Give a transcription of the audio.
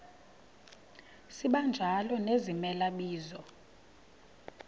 sibanjalo nezimela bizo